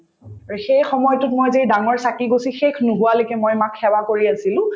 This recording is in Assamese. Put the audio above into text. আৰু সেই সময়তোত মই যে এই ডাঙৰ চাকিগছি শেষ নোহোৱালৈকে মই মাক সেৱা কৰিয়ে আছিলো